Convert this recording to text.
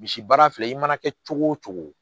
Misi baara filɛ i mana kɛ cogo o cogo